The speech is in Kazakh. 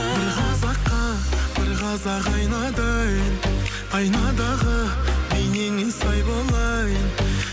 бір қазаққа бір қазақ айнадай айнадағы бейнеңе сай болайын